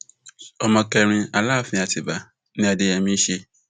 ọmọ kẹrin aláàfin àtibá ni adéyèmí í ṣe